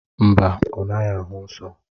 Mba, ọ naghị ahụ nsọ.